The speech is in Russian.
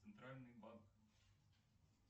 центральный банк